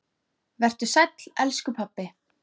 Vertu sæll, elsku pabbi.